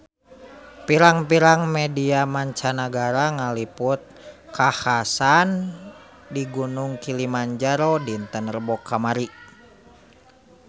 Pirang-pirang media mancanagara ngaliput kakhasan di Gunung Kilimanjaro dinten Rebo kamari